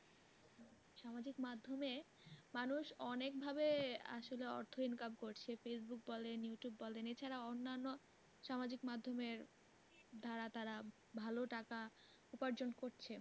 সামাজিক মাধ্যমে মানুষ অনেক ভাবে আসলে অর্থ income করছে। ফেইসবুক বলেন ইউটিউব বলেন এছাড়া অন্যান্য সামাজিক মাধমের দ্বারা তারা ভালো টাকা উপার্জন করে